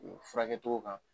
O furakɛ cogo kan